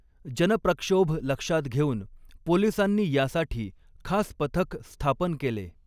जनप्रक्षोभ लक्षात घेऊन पोलिसांनी यासाठी खास पथक स्थापन केले.